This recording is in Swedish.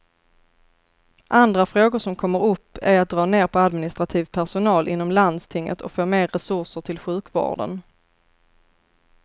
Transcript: Andra frågor som kommer upp är att dra ner på administrativ personal inom landstinget och få mer resurser till sjukvården.